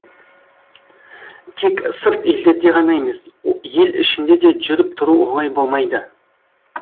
тек сырт елдерде ғана емес ел ішінде де жүріп тұру оңай болмайды